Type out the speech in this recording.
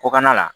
Kɔkanna la